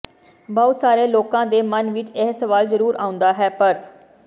ਬਹੁਤ ਸਾਰੇ ਲੋਕਾਂ ਦੇ ਮਨ ਵਿੱਚ ਇਹ ਸਵਾਲ ਜਰੂਰ ਆਉਂਦਾ ਹੈ ਪਰ